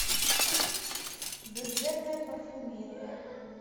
бюджетная парфюмерия